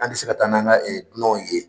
An tɛ se ka taa n'an ka ye